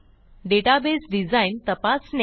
database design तपासणे